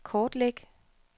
kortlæg